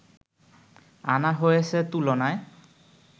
আনা হয়েছে তুলনায়